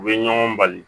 U bɛ ɲɔgɔn bali